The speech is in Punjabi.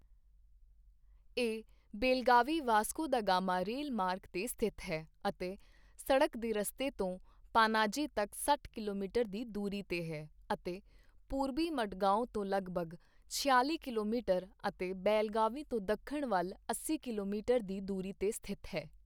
ਇਹ ਬੇਲਗਾਵੀ ਵਾਸਕੋ ਦਾ ਗਾਮਾ ਰੇਲ ਮਾਰਗ 'ਤੇ ਸਥਿਤ ਹੈ ਅਤੇ ਸੜਕ ਦੇ ਰਸਤੇ ਤੋਂ ਪਾਨਾਜੀ ਤੱਕ ਸੱਠ ਕਿਲੋਮੀਟਰ ਦੀ ਦੂਰੀ ਤੇ ਹੈ ਅਤੇ ਪੂਰਬੀ ਮਡਗਾਓਂ ਤੋਂ ਲਗਭਗ ਛਿਆਲੀ ਕਿਲੋਮੀਟਰ ਅਤੇ ਬੇਲਗਾਵੀ ਤੋਂ ਦੱਖਣ ਵੱਲ ਅੱਸੀ ਕਿਲੋਮੀਟਰ ਦੀ ਦੂਰੀ ਤੇ ਸਥਿਤ ਹੈ।